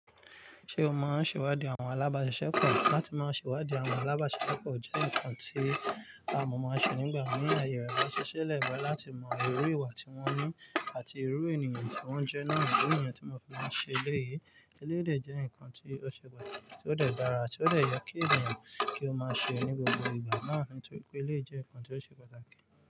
Ṣé o máa ń ṣèwádìí àwọn alábàáṣiṣẹ́ pọ̀? Látí máa ṣèwádìí àwọn alábàáṣẹ́ṣẹ́ pọ̀ jẹ́ nǹkan tí àwọn ọmọ máa ń ṣe nígbà mìíràn, àyè rẹ̀ bá ṣiṣẹ́ le láti mọ irú ìwà tí wọ́n ní àti irú ènìyàn tí wọ́n jẹ́ náà. Ìdí nìyẹn tí mo fi máa ń ṣe eléyìí, eléyìí dè jẹ́ nǹkan tí ó ṣe pàtàkì, tí ó dẹ̀ dára, tí ó dẹ̀ yẹ kí ènìyàn kí ó máa ṣe ní gbogbo ìgbà náà ni, torí pé eléyìí jẹ́ nǹkan tí ó ṣe pàtàkì.